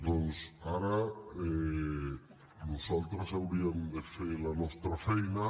doncs ara nosaltres hauríem de fer la nostra feina